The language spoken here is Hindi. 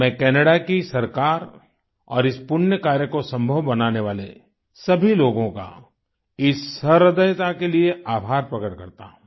मैं कैनाडा की सरकार और इस पुण्य कार्य को सम्भव बनाने वाले सभी लोगों का इस सहृदयता के लिये आभार प्रकट करता हूँ